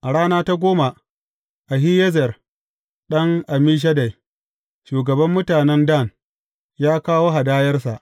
A rana ta goma, Ahiyezer ɗan Ammishaddai, shugaban mutanen Dan, ya kawo hadayarsa.